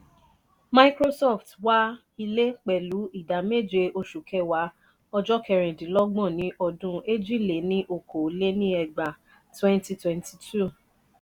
microsoft wá ilé pẹlu idà méje oṣù kẹ̀wá ojo kerin dín lọgbọ́n ni odun èjì-lé-ní-okòó lé ní ẹgbàá (2022).